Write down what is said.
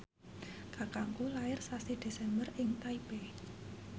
kakangku lair sasi Desember ing Taipei